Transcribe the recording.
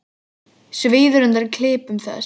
Svíður undan klipum þess.